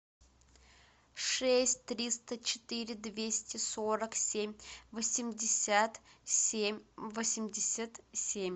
шесть триста четыре двести сорок семь восемьдесят семь восемьдесят семь